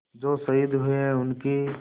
जो शहीद हुए हैं उनकी